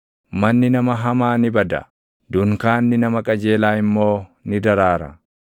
Manni nama hamaa ni bada; dunkaanni nama qajeelaa immoo ni daraara.